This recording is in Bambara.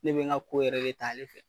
Ne be n ka ko yɛrɛ de ta ale fɛ.